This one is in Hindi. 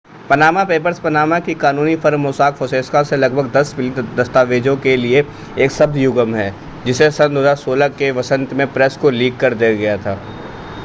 पनामा पेपर्स पनामा की कानूनी फर्म मोसाक फोंसेका से लगभग दस मिलियन दस्तावेजों के लिए एक शब्द युग्म है जिसे सन 2016 के वसंत में प्रेस को लीक कर दिया गया था